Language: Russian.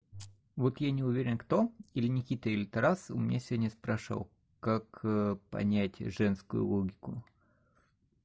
вот я не уверен кто или никита или тарас у меня сегодня спрашивал как понять женскую логику